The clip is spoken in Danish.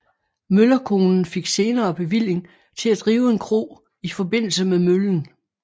Møllerkonen fik senere bevilling til at drive en kro i forbindelse med møllen